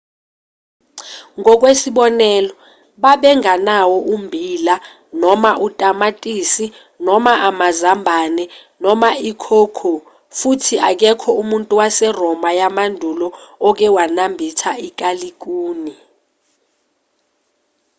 ngokwesibonelo babengenawo ummbila noma otamatisi noma amazambane noma i-cocoa futhi akekho umuntu waseroma yamandulo oke wanambitha ikalikuni